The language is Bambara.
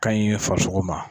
Ka ɲi farisoko ma.